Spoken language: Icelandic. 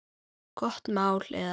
Gott mál eða?